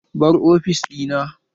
Bar ofis ɗina!